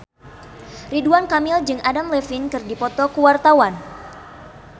Ridwan Kamil jeung Adam Levine keur dipoto ku wartawan